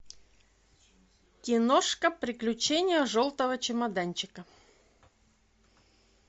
киношка приключения желтого чемоданчика